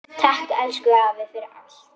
Elsku afi takk fyrir allt.